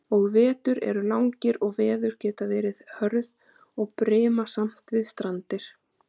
Og vetur eru langir og veður geta verið hörð og brimasamt við strandir.